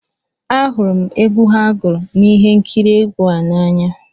Ahụrụ m egwu ha gụrụ na ihe nkiri egwu a n'anya